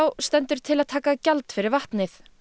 stendur til að taka gjald fyrir vatnið